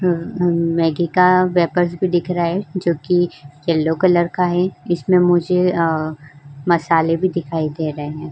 अं-अं मैंगी का वेपर्स भी दिख रहा है जोकि येलो कलर का है। इसमें मुझे अ मसाले भी दिखाई दे रहे हैं।